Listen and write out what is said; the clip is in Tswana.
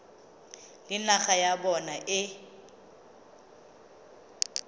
le naga ya bona e